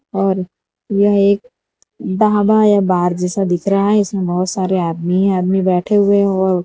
और यह एक ढाबा या बार जैसा दिख रहा है इसमें बहोत सारे आदमी ही आदमी बैठे हुए है वो --